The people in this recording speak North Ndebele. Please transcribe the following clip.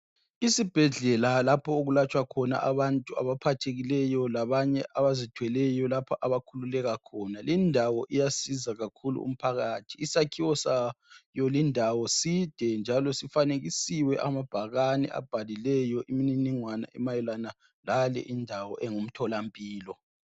Isibhedlela lapho okulatshwa khona abantu abaphathekileyo labanye abazithweleyo lapha abakhululeka khona lendawo iyanceda kakhulu umphakathi isakhiwo sayo lindawo side njalo sifanekisiwe amabhakane abhaliweyo imininingwane emayelana lale lendawo engumtholampilo.